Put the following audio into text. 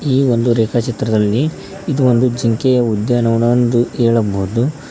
ಈ ಒಂದು ರೇಖಾ ಚಿತ್ರದಲ್ಲಿ ಇದು ಒಂದು ಜಿಂಕೆಯ ಉದ್ಯಾನವನ ಎಂದು ಹೇಳಬಹುದು.